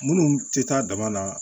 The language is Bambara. Minnu tɛ taa dama na